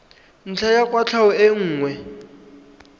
ntlha ya kwatlhao e nngwe